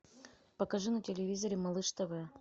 покажи на телевизоре малыш тв